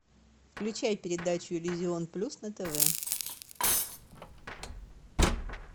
включай передачу иллюзион плюс на тв